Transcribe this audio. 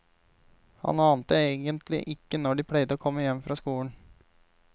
Han ante egentlig ikke når de pleide å komme hjem fra skolen.